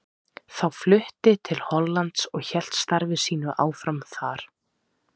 Þá flutti til Hollands og hélt starfi sínu áfram þar.